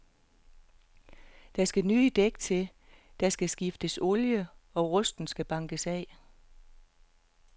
Der skal nye dæk til, der skal skiftes olie og rusten skal bankes af.